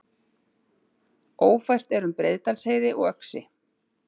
Ófært er um Breiðdalsheiði og Öxi